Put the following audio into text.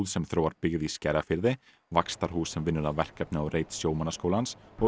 sem þróar byggð í Skerjafirði Vaxtarhús sem vinnur að verkefni á reit sjómannaskólans og